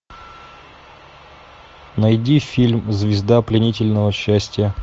найди фильм звезда пленительного счастья